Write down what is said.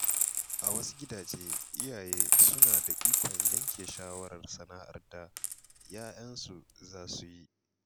A wasu gidaje, iyaye suna da ikon yanke shawarar sana’ar da ‘ya‘yansu za su yi.